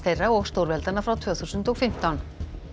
þeirra og stórveldanna frá tvö þúsund og fimmtán